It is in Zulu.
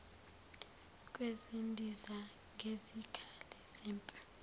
kwezindiza nezikhali zempi